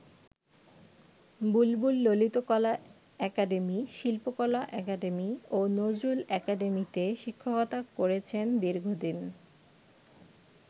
বুলবুল Lalitkala academy, Shilpakala academy ও নজরুল একাডেমীতে শিক্ষকতা করেছেন দীর্ঘদিন।